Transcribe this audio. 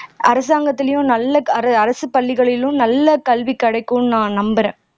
அரசாங்கத்துலேயும் நல்ல அரசு பள்ளிகளிலும் நல்ல கல்வி கிடைக்கும்னு நான் நம்புறேன்